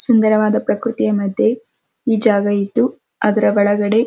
ಸುಂದರವಾದ ಪ್ರಕೃತಿಯ ಮದ್ಯೆ ಈ ಜಾಗ ಇದ್ದು ಅದ್ರ ಒಳಗಡೆ --